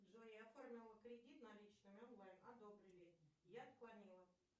джой я оформила кредит наличными онлайн одобрили я отклонила